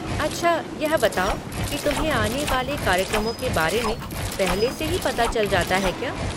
अच्छा, यह बताओ कि तुम्हें आने वाले कार्यक्रमों के बारे में पहले से ही पता चल जाता है क्या?